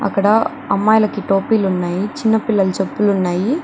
అక్కడ అమ్మాయిలకి టోపీలు ఉన్నాయి. చిన్నపిల్లలు చెప్పులు ఉన్నాయి.